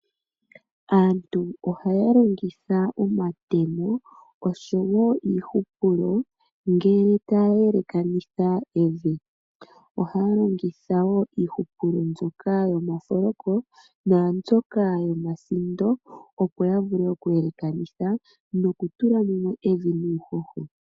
Aantu ohaya longitha omatemo oshowo iihupulo ngele taya yelekanitha evi. Ohaya longitha wo iihupulo mbyoka yomafoloko naambyoka yomasindo opo ya vule okuyelekanitha nokutula mumwe evi nuuhoho.